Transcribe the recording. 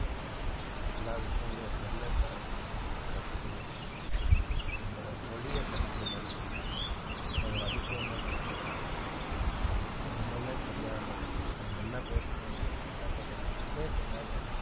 எல்லா விஷயங்களையும் அது என்னென்ன கத்துக்கணும் நம்மளோட மொழிய கத்துக்குது அது ஒரு அதிசயமான விஷயம் அது என்னன்னே தெரியாம அவங்க என்ன பேசுறாங்க எதுவுமே தெரியாம